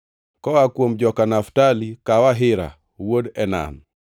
koa kuom joka Naftali, kaw Ahira wuod Enan.”